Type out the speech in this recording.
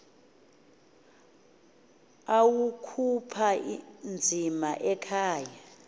awakhupha nzima ekhaya